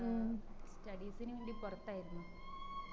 studies ന് വേണ്ടി പൊറത്തായിരുന്നു